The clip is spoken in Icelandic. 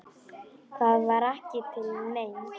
Það var ekki til neins.